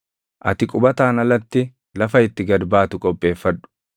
Ati qubataan alatti lafa itti gad baatu qopheeffadhu.